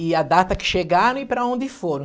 E a data que chegaram e para onde foram.